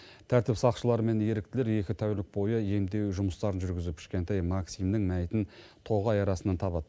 тәртіп сақшылары мен еріктілер екі тәулік бойы емдеу жұмыстарын жүргізіп кішкентай максимнің мәйітін тоғай арасынан табады